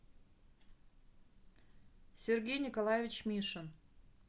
сергей николаевич мишин